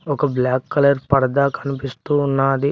ఒక black colour పరదా కనిపిస్తూ ఉన్నాది.